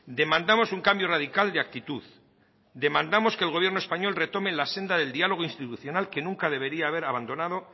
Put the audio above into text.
demandamos un cambio radical de actitud demandamos que el gobierno español retome la senda del diálogo institucional que nunca debería haber abandonado